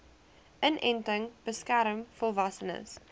inenting beskerm volwassenes